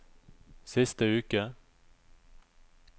siste uke